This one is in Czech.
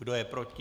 Kdo je proti?